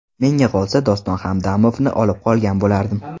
Menga qolsa Doston Hamdamovni olib qolgan bo‘lardim.